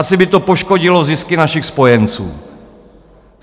Asi by to poškodilo zisky našich spojenců.